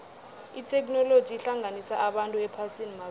itheknoloji ihlanganisa abantu ephasini mazombe